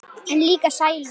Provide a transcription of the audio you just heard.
En líka sælu.